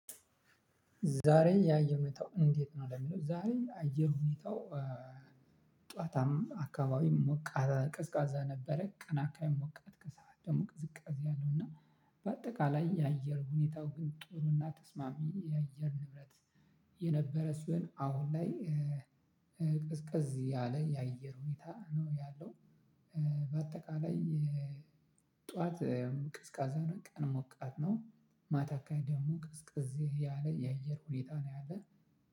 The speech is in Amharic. ዛሬ ያየር ሁኔታው እንዴት ነው ለሚለው ዛሬ አየር ሁኔታው? ጠዋት አካባቢ ቅዝቃዛ ነበረ ቀን አካባቢ ሞቃት ከሰአት ደግሞ ቅዝቃዜ አለው። እና በአጠቃላይ የአየር ሁኔታው ግን ጥሩና ተስማሚ የአየር ንብረት። የነበረ ሲሆን አሁን ላይ ቀዝቀዝ ያለ የአየር ሁኔታ ነው ያለው። በአጠቃላይ ጠዋት ቅዝቃዛ ነው። ቀን ሞቃት ነው። ማታ አካባቢ ደግሞ ቅዝቅዝ ያለ የአየር ሁኔታ ነው ያለው።